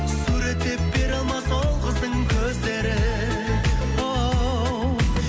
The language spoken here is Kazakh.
суреттеп бере алмас ол қыздың көздерін оу